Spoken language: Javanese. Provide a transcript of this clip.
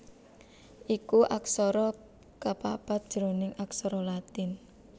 iku aksara kapapat jroning aksara Latin